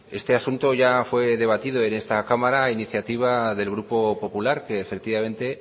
este asunto ya fue debatido en esta cámara a iniciativa del grupo popular que efectivamente